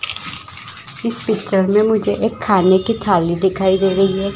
इस पिक्चर मे मुझे एक खाने की थाली दिखाई दे रही है ।